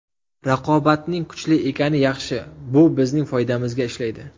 Raqobatning kuchli ekani yaxshi, bu bizning foydamizga ishlaydi.